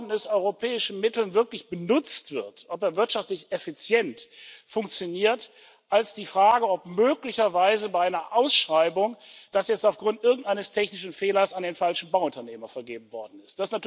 mit europäischen Mitteln gebaut worden ist, wirklich benutzt wird, ob er wirtschaftlich effizient funktioniert, als die Frage, ob möglicherweise bei einer Ausschreibung das jetzt aufgrund irgendeines technischen Fehlers an den falschen Bauunternehmer vergeben worden ist.